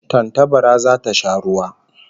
Tantabara zata sha ruwa